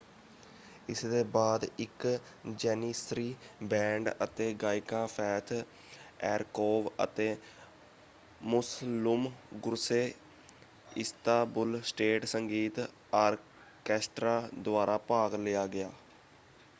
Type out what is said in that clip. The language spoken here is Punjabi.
ਇਸਦੇ ਬਾਅਦ ਇਕ ਜੈਨੀਸਰੀ ਬੈਂਡ ਅਤੇ ਗਾਇਕਾਂ ਫੇਥ ਐਰਕੋਵ ਅਤੇ ਮੁਸਲੁਮ ਗੁਰਸੇ ਇਸਤਾਬੁਲ ਸਟੇਟ ਸੰਗੀਤ ਆਰਕੈਸਟਰਾ ਦੁਆਰਾ ਭਾਗ ਲਿਆ ਗਿਆ।